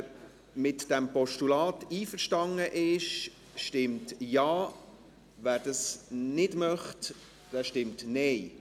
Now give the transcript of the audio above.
Wer mit diesem Postulat einverstanden ist, stimmt Ja, wer es nicht möchte, stimmt Nein.